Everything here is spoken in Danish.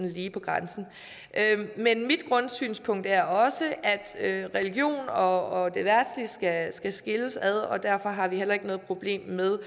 lige på grænsen men mit grundsynspunkt er også at religionen og det verdslige skal skal skilles ad og derfor har vi heller ikke noget problem med